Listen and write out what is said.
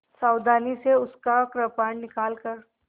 सावधानी से उसका कृपाण निकालकर